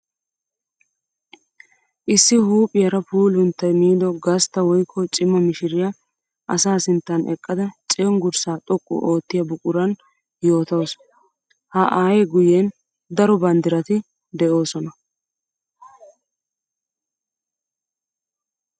Issi huuphiyara puulunttay miido gastta woykko cima mishiriya asaa sinttan eqqadda cenggurssa xoqu oottiya buquran yoottawussu. Ha aaye guyen daro banddiratti de'osonna.